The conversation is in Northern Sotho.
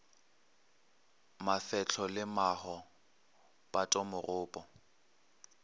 mafehlo le maho pato megopo